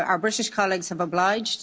Our British colleagues have obliged